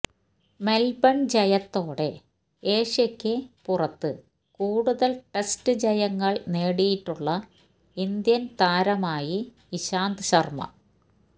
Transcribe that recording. Melbourne ജയത്തോടെ ഏഷ്യക്ക് പുറത്ത് കൂടുതല് ടെസ്റ്റ് ജയങ്ങള് നേടിയിട്ടുള്ള ഇന്ത്യന് താരമായി ഇശാന്ത് ശര്മ്മ